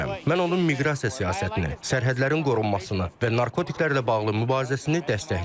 Mən onun miqrasiya siyasətini, sərhədlərin qorunmasını və narkotiklərlə bağlı mübarizəsini dəstəkləyirəm.